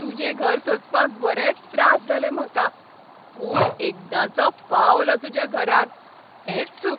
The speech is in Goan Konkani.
तुजें घर सोदपाक बरेंच त्रास जाले म्हाका, पूण एकदांचो पावलो तुज्या घरांत, हेंच सूख.